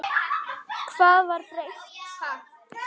Hvað var breytt?